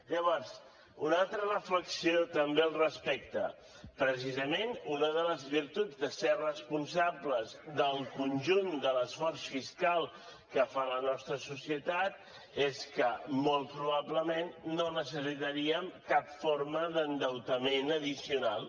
llavors una altra reflexió també al respecte precisament una de les virtuts de ser responsables del conjunt de l’esforç fiscal que fa la nostra societat és que molt probablement no necessitaríem cap forma d’endeutament addicional